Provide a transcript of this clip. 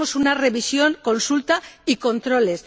Queremos una revisión, consulta y controles.